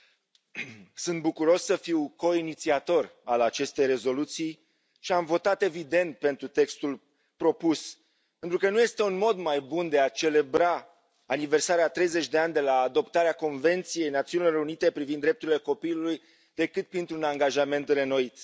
Domnule Președinte, sunt bucuros să fiu coinițiator al acestei rezoluții și am votat, evident, pentru textul propus, pentru că nu este un mod mai bun de a celebra aniversarea a treizeci de ani de la adoptarea Convenției Națiunilor Unite privind drepturile copilului decât printr un angajament reînnoit.